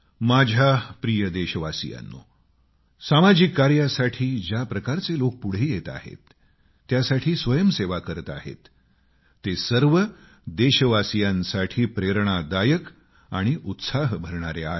माझ्या प्रिय देशवासियांनो सामाजिक कार्यासाठी ज्या प्रकारचे लोक पुढे येत आहेत त्यासाठी स्वयंसेवा करत आहेत ते सर्व देशवासीयांसाठी प्रेरणादायक आणि उत्साह भरणारे आहे